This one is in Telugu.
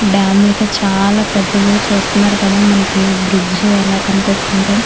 డామ్ అయితే చాలా పెద్దది చూస్తున్నారు కదా బ్రిడ్జి ఎలా కనిపిస్తుందో.